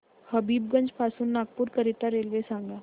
हबीबगंज पासून नागपूर करीता रेल्वे सांगा